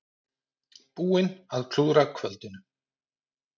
Búin að klúðra kvöldinu.